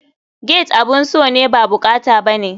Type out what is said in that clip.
Gate abun so ne ba bukata bane.